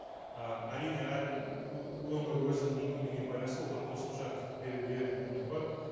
ы әрине әр өңір өзінің мүмкіндігіне байланысты одан қосымша беруге мүмкіндік бар